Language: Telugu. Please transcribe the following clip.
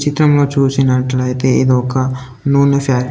చిత్రంలో చూసినట్లయితే ఇది ఒక నూనె ఫ్యాక్టరీ .